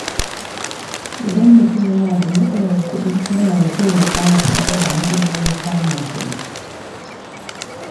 Idan mutum yana da matsalar kuɗi, yana da kyau ya ƙara faɗaɗa hanyoyin samun kuɗi.